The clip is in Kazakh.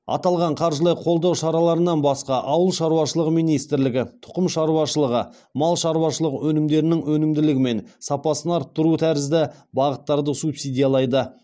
аталған қаржылай қолдау шараларынан басқа ауыл шаруашылығы министрлігі тұқым шаруашылығы мал шаруашылығы өнімдерінің өнімділігі мен сапасын арттыру тәріззді бағыттарды субсидиялайды